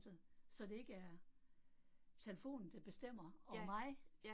Så så det ikke er telefonen, der bestemmer over mig